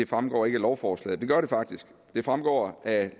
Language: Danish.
fremgår af lovforslaget men det gør det faktisk det fremgår af